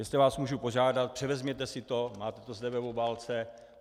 Jestli vás můžu požádat, převezměte si to, máte to zde v obálce.